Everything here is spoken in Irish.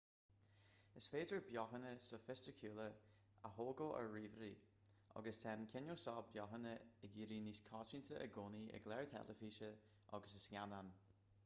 is féidir beochana sofaisticiúla a thógáil ar ríomhairí agus tá an cineál seo beochana ag éirí níos coitianta i gcónaí i gcláir theilifíse agus i scannáin